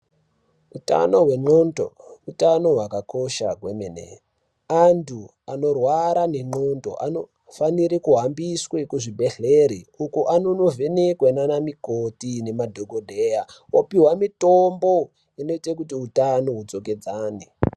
Hutano hwengonxo hutano hwakakosha kwemene antu anorwara ngengonxo anofana kuhambiswa kuzvibhedhlera uko anondovhenekwa nana mikoti nemadhokodheya opihwa mitombo inoita kuti hutano hudzokedzane.